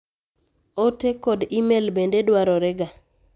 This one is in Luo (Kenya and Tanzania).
Oote kod email bende dwarorega.